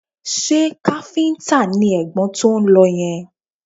Ṣé káfíńtà ni ẹ̀gbọ́n tó ń lọ yẹn?